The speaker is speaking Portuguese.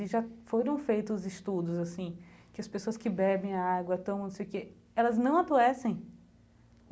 E já foram feitos estudos, assim, que as pessoas que bebem a água tomam, não sei o que... Elas não adoecem.